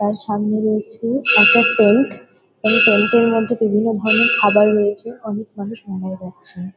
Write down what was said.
তার সামনে রয়েছে একটা ট্যাঙ্ক এই ট্যাঙ্ক -এর মধ্যে বিভিন্ন ধরণের খাবার রয়েছে। অনেক মানুষ মেলায় যাচ্ছেন।